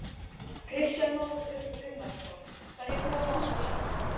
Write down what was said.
Kristján Már Unnarsson: Hverjir koma og versla hér?